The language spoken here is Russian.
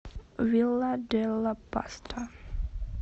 вилла делла паста